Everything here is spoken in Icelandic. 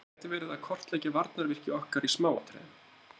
Hann gæti verið að kortleggja varnarvirki okkar í smáatriðum.